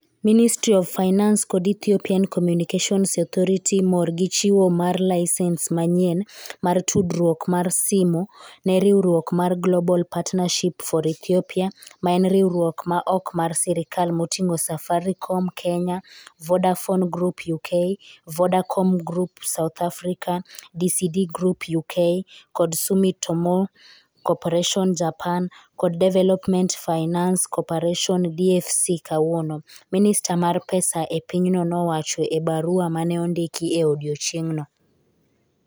Ministry of Finance kod Ethiopian Communications Authority mor gi chiwo mar laisens manyien mar tudruok mar simo ne riwruok mar Global Partnership for Ethiopia, ma en riwruok ma ok mar sirkal moting'o Safaricom (Kenya), Vodafone Group (UK), Vodacom Group (South Africa), DCD Group (UK) kod Sumitomo Corporation (Japan) kod Development Finance Cooperation (DFC) kawuono, Minister mar pesa e pinyno nowacho e barua ma ne ondiki e odiechieng'no.